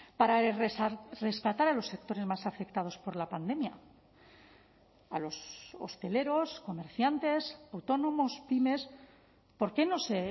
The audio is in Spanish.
para rescatar a los sectores más afectados por la pandemia a los hosteleros comerciantes autónomos pymes por qué no se